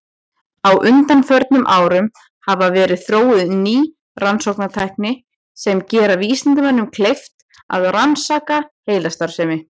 Á undanförnum árum hafa verið þróuð ný rannsóknartæki sem gera vísindamönnum kleift að rannsaka heilastarfsemi.